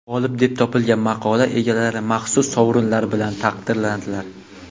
G‘olib deb topilgan maqola egalari maxsus sovrinlar bilan taqdirlandilar.